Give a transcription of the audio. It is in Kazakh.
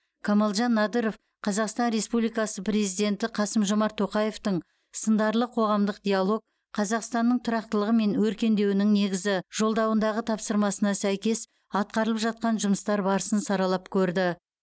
камалжан надыров қазақстан республикасы президенті қасым жомарт тоқаевтың сындарлы қоғамдық диалог қазақстанның тұрақтылығы мен өркендеуінің негізі жолдауындағы тапсырмасына сәйкес атқарылып жатқан жұмыстар барысын саралап көрді